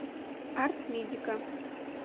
артмедика